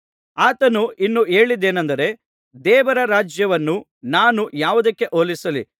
ಆತನು ಇನ್ನೂ ಹೇಳಿದ್ದೇನಂದರೆ ದೇವರ ರಾಜ್ಯವನ್ನು ನಾನು ಯಾವುದಕ್ಕೆ ಹೋಲಿಸಲಿ